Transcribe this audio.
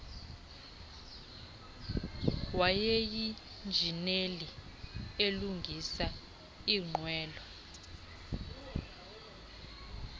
wayeyinjineli elungisa iinqwelo